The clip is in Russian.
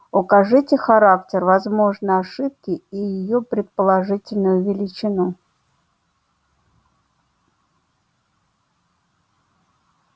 укажите характер возможной ошибки и её предположительную величину